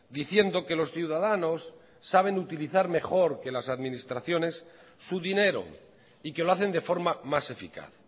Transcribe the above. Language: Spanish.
diciendo que los ciudadanos saben utilizar mejor que las administraciones su dinero y que lo hacen de forma más eficaz